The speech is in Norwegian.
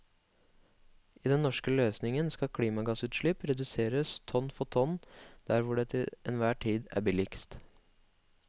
I den norske løsningen skal klimagassutslipp reduseres tonn for tonn der hvor det til enhver tid er billigst.